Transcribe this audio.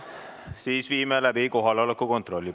Siis viime läbi kohaloleku kontrolli.